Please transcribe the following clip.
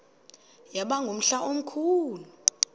yaba ngumhla omkhulu